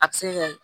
A bɛ se kɛ